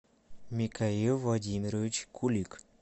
микаил владимирович кулик